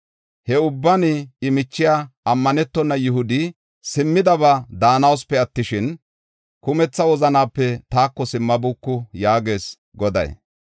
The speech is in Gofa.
He ubban I michiya, ammanetona Yihudi simmidaba daanawusupe attishin, kumetha wozanape taako simmabuuku” yaagees Goday.